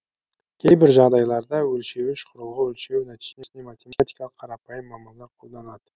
кейбір жағдайларда өлшеуіш құрылғы өлшеу нәтижесіне математикалық қарапайым амалдар қолданады